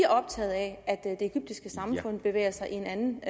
optaget af at det egyptiske samfund bevæger sig i en anden